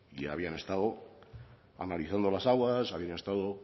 habían estado analizando las aguas habían estado